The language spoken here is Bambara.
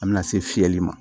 A bɛna se fiyɛli ma